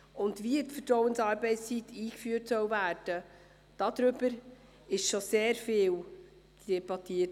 Es wurde schon sehr viel darüber debattiert, ob und wie die Vertrauensarbeitszeit eingeführt werden soll.